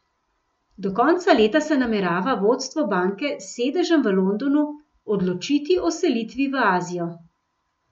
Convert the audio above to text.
Do konca leta se namerava vodstvo banke s sedežem v Londonu odločiti o selitvi v Azijo.